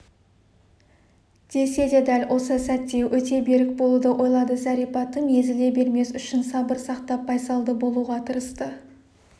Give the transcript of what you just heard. деседе дәл осы сәтте өте берік болуды ойлады зәрипа тым езіле бермес үшін сабыр сақтап байсалды болуға тырысты